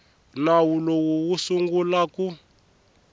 nawu lowu wu sungula ku